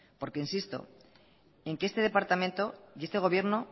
porque insisto en que este departamento y este gobierno